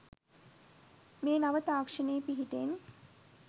මේ නව තාක්ෂණයේ පිහිටෙන්